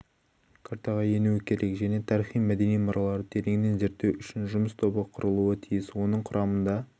картаға енуі керек және тарихи-мәдени мұраларды тереңінен зерттеу үшін жұмыс тобы құрылуы тиіс оның құрамында